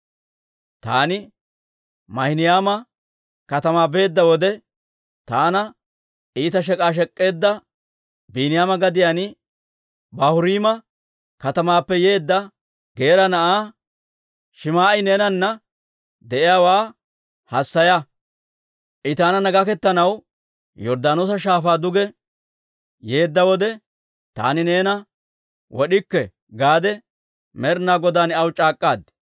«Taani Maahinayma katamaa beedda wode, taana iita shek'k'a shek'k'eedda Biiniyaama gadiyaan Baahuriima katamaappe yeedda Geera na'aa Shim"i neenana de'iyaawaa hassaya. I taananna gaketanaw Yorddaanoosa Shaafaa duge yeedda wode, ‹Taani neena wod'ikke› gaade Med'inaa Godaan aw c'aak'k'aad.